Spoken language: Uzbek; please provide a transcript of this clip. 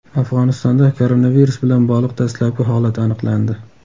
Afg‘onistonda koronavirus bilan bog‘liq dastlabki holat aniqlandi.